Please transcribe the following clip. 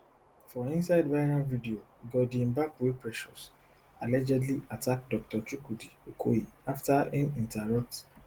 for inside viral video goddy mbakwe precious allegedly attack dr chukwudi okoye afta im interrupt